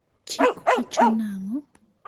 chik wacho nango?